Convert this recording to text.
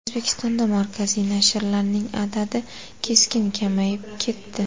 O‘zbekistonda markaziy nashrlarning adadi keskin kamayib ketdi.